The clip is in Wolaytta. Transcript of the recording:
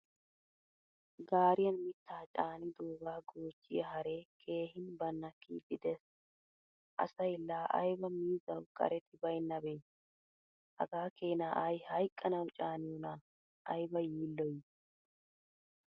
Gaariyan mittaa caanidoga goochiyaa haree keehin banakkidi de'ees. Asay la ayba miizzawu qaretti baynabbe? Hagaa keena ay hayqqanawu caaniyona? Ayiba yiiloy?